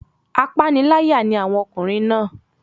Apániláyà ni àwọn ọkùnrin náà.